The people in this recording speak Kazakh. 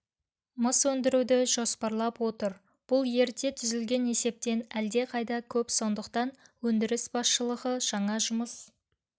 мыс өндіруді жоспарлап отыр бұл ерте түзілген есептен әлдеқайда көп сондықтан өндіріс басшылығы жаңа жұмыс